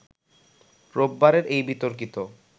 রোববারের এই বিতর্কিত